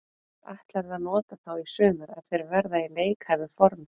Hvar ætlarðu að nota þá í sumar ef þeir verða í leikhæfu formi?